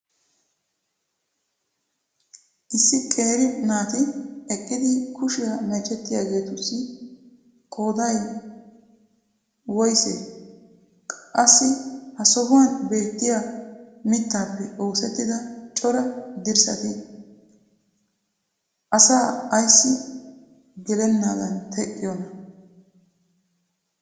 Issi qeeri naati eqqidi kushiya meecettiyaageetussi qooday qoyssee? Qassi ha sohuwan beettiya mittaappe oosettida cora dirssati asaa ayssi gelenaadan teqqiyoonaa?